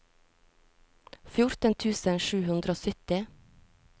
fjorten tusen sju hundre og sytti